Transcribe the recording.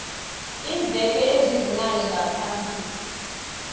iimveke ezibunane ngaphambi